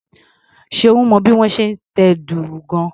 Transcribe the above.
Ṣeun mọ bí wón ṣe ń tẹ dùrù gan-an.